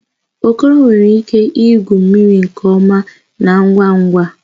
Okoro nwere ike igwu mmiri nke ọma na ngwa ngwa